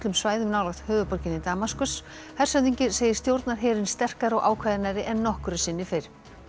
svæðum nálægt höfuðborginni Damaskus hershöfðingi segir stjórnarherinn sterkari og ákveðnari en nokkru sinni fyrr